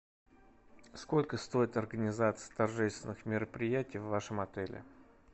сколько стоит организация торжественных мероприятий в вашем отеле